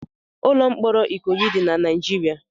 Ụlọ mkpọrọ Ikoyi dị na Naịjirịa